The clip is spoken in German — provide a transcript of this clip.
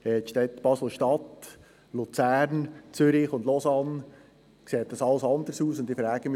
Dort war es der richtige Ort, dort haben Sie verkehrspolitisch über den Westast in Biel diskutiert.